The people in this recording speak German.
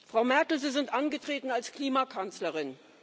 Frau Merkel, Sie sind angetreten als Klimakanzlerin.